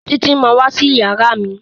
Títí má wá sí iyàrá mí.